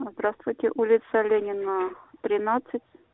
здравствуйте улица ленина тринадцать